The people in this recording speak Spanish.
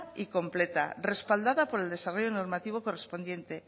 y completa respaldada por el desarrollo normativo correspondiente